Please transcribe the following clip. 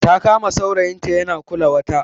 Ta kama saurayinta yana kula wata